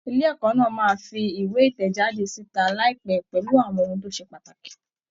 Ilé ẹ̀kọ́ náà máa fi ìwé ìtẹ̀jáde síta láìpẹ́ pẹ̀lú àwọn ohun tó ṣe pàtàkì.